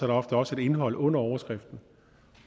der ofte også et indhold under overskriften